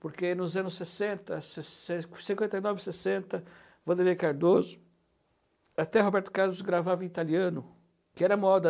Porque nos anos sessenta, sessen cinquenta e nove, sessenta, Wanderlei Cardoso, até Roberto Carlos gravava em italiano, que era moda.